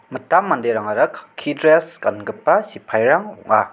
mitam manderangara kakki dress gangipa sippairang ong·a.